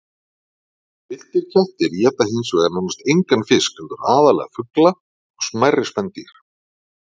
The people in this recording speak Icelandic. Villtir kettir éta hins vegar nánast engan fisk heldur aðallega fugla og smærri spendýr.